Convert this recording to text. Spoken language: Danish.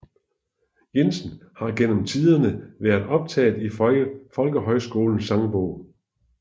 Jensen har gennem tiderne været optaget i Folkehøjskolens Sangbog